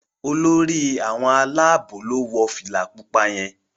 Olórí àwọn Àlàabò lọ wọ fìlà pupa yén